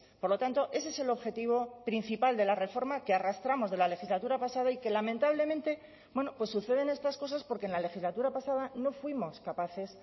por lo tanto ese es el objetivo principal de la reforma que arrastramos de la legislatura pasada y que lamentablemente suceden estas cosas porque en la legislatura pasada no fuimos capaces